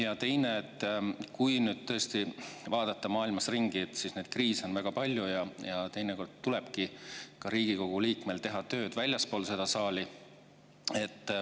Ja teine, et kui nüüd tõesti vaadata maailmas ringi, siis neid kriise on väga palju ja teinekord tulebki Riigikogu liikmel teha tööd väljaspool seda saali.